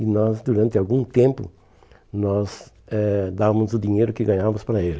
E nós, durante algum tempo, nós eh dávamos o dinheiro que ganhávamos para ele.